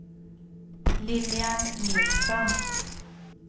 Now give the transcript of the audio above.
Lilian Nilsson